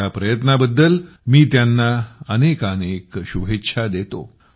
या प्रयत्नाबद्दल मी त्यांना अनेकानेक शुभेच्छा देतो